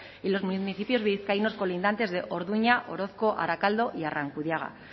y los municipios vizcaínos colindantes de orduña orozko arakaldo y arrankudiaga